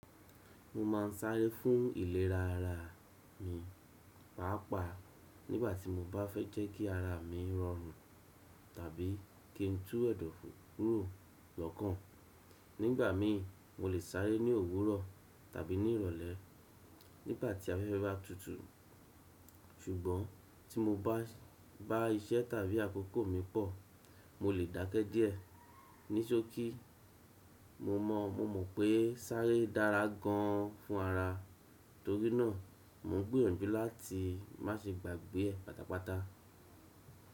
Mo máa ń sáré fún ìlerá ara mi, pàápàá nígbà tí mo bá fẹ́ jẹ́ kí ara mi rọrùn tàbí kí ń tú ẹ̀dọ̀fú kúrò lọ́kàn. Nígbà mì mo lè sáré ní òwúrọ̀ tàbí ní ìrọ̀lẹ́, nígbà tí afẹ́fẹ́ bá tutù. Ṣùgbọ́n, tí mo bá iṣẹ́ tàbí àkókò mi pọ̀ mo lè dákẹ́ díẹ̀. Ní ṣókí mo mọ̀, mo mọ̀ pé sáré dára gan fún ara, torí náà mò ń gbìyànjú láti má ṣe gbàgbé ẹ̀ pátápátá.